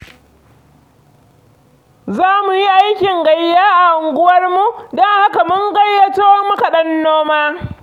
Za mu yi aikin gayya a unguwarmu, don haka mun gayyato makaɗan noma.